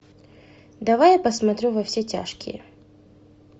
давай я посмотрю во все тяжкие